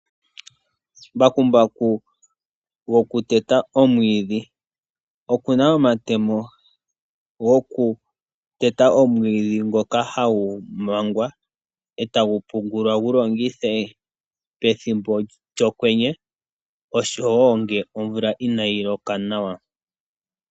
Mbakumbaku goku teta omwiidhi okuna omatemo goku teta omwiidhi ngoka hagu mangwa eta gu pungulwa gu longithwe pethimbo lyokwenye osho woo ngele omvula inayi loka nawa.